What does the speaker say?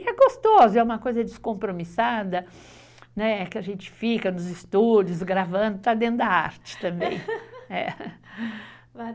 É, e é gostoso, é uma coisa descompromissada, né? que a gente fica nos estúdios gravando, está dentro da arte também.